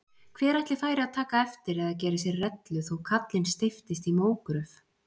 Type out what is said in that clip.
Hver ætli færi að taka eftir eða gera sér rellu þó kallinn steyptist í mógröf?